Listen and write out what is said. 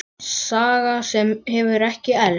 Saga sem hefur ekki elst.